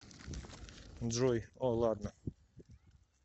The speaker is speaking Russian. джой о ладно